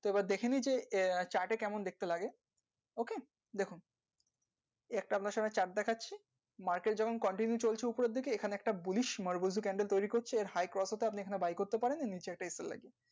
তো এবার দেখে নিয়ে chart এ কেমন দেখতে লাগে ok দেখুন ছোট্ট একটা প্রথমে chart দেখেছি market যখন continue চল চে উপর আর দিকে এখানে একটা bullish candle তৈরি করছে এর high কত টা আপনি buy করতে পারেন নিচে একটা লাগিয়ে।